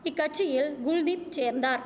இக்கட்சியில் குல்தீப் சேர்ந்தார்